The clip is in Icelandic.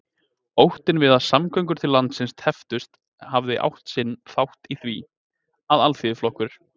Óttinn við að samgöngur til landsins tepptust hafði átt sinn þátt í því, að Alþýðuflokkur